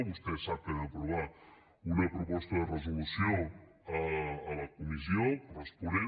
vostè sap que vam aprovar una proposta de resolució a la comissió corresponent